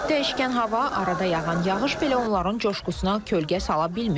Dəyişkən hava, arada yağan yağış belə onların coşqusuna kölgə sala bilmir.